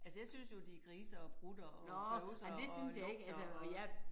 Altså jeg synes jo de griser og prutter og bøvser og lugter og